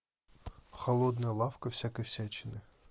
холодная лавка всякой всячины